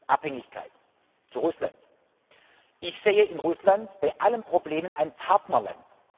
Abhängigkeit, zu Russland Ich sehe in Russland bei allen Problemen ein Partnerland.